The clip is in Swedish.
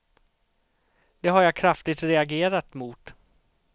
Det har jag kraftigt reagerat mot.